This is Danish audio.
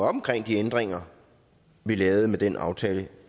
omkring de ændringer vi lavede med den aftale